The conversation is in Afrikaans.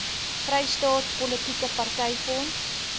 vrystaat politieke partyfonds